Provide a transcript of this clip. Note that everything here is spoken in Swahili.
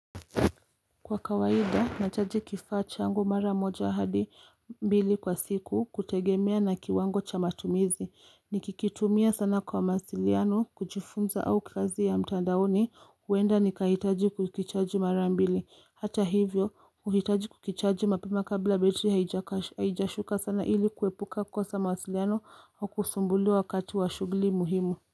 Kwa kawaida, nachaji kifaa changu mara moja hadi mbili kwa siku kutegemea na kiwango cha matumizi. Nikikitumia sana kwa maasiliano, kujifunza au kazi ya mtandaoni, huenda nikahitaji kukichaji mara mbili. Hata hivyo, huhitaji kukichaji mapema kabla betri haijashuka sana ili kuepuka kosa maasiliano au kusumbuliwa wakati wa shugli muhimu.